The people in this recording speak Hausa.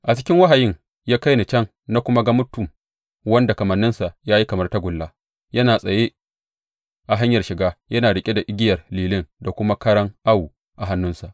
A cikin wahayin ya kai ni can, na kuma ga mutum wanda kamanninsa ya yi kamar tagulla; yana tsaye a hanyar shiga yana riƙe da igiyar lilin da kuma karan awo a hannunsa.